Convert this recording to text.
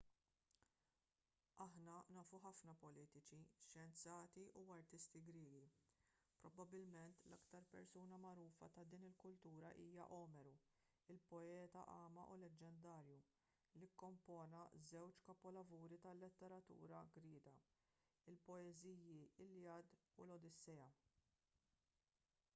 aħna nafu ħafna politiċi xjenzati u artisti griegi probabbilment l-aktar persuna magħrufa ta' din il-kultura hija omeru il-poeta agħma leġġendarju li kkompona żewġ kapolavuri tal-letteratura griega il-poeżiji l-iliad u l-odissea